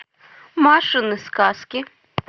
машины сказки